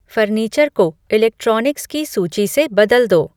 furniture को electronics की सूची से बदल दो